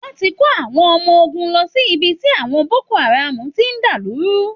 Wọ́n ti kó àwọn ọmọ ogun lọ sí ibi tí àwọn Boko Haram ti ń dàlú rú